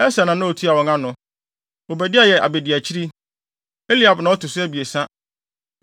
Eser na na otua wɔn ano. Obadia yɛ abediakyiri. Eliab na ɔto so abiɛsa.